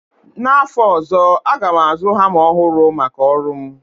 N'afọ ozọ, aga m azụ hama ọhụrụ maka ọrụ m